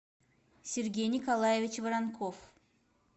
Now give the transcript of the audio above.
сергей николаевич воронков